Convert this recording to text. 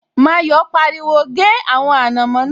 Mayọ̀ pariwo, 'gé àwọn ànàmọ́ náà'